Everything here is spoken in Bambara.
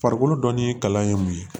Farikolo dɔnni kalan ye mun ye